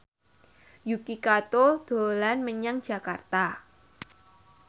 Yuki Kato dolan menyang Jakarta